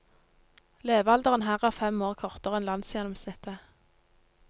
Levealderen her er fem år kortere enn landsgjennomsnittet.